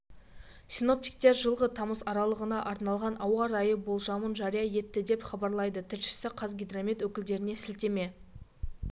синоптиктер жылғы тамыз аралығына арналған ауа райы болжамын жария етті деп хабарлайды тілшісі қазгидромет өкілдеріне сілтеме